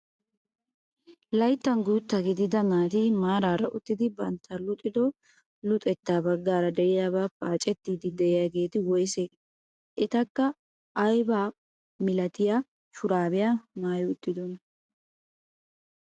Layttan gutta gidida naati maarara uttidi bantta luxxido luxettaa baggaara de'iyaabaa paacettiidi de'iyaageti woysee? etikka ayibaa milatiyaa shurabiyaa maayi uttidonaa?